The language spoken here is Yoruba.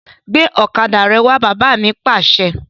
Gbe ọ̀kadà rẹ wà! Bàbá mi Pàṣẹ!